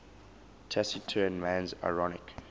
taciturn man's ironic